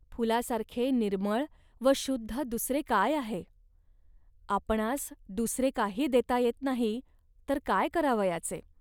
फुलासारखे निर्मळ व शुद्ध दुसरे काय आहे. आपणांस दुसरे काही देता येत नाही, तर काय करावयाचे